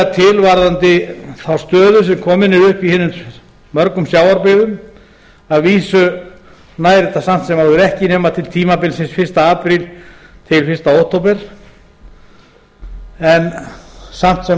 til varðandi þá stöðu sem komin er upp í hinum mörgu sjávarbyggðum að vísu nær þetta samt sem áður ekki nema til tímabilsins fyrsta apríl til fyrsta október en samt sem